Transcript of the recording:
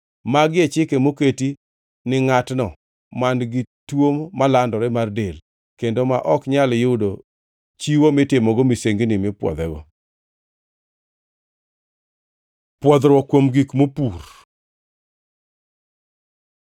Magi e chike moketi ni ngʼatno man-gi tuo malandore mar del, kendo ma ok nyal yudo chiwo mitimogo misengini mipwodhego. Pwodhruok kuom gik mopur